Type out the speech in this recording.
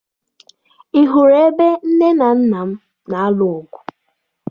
Ị hụrụ ebe nne na nna m na-alụ ọgụ?